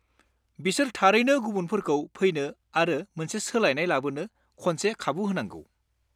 बिसोर थारैनो गुबुनफोरखौ फैनो आरो मोनसे सोलायनाय लाबोनो खनसे खाबु होनांगौ।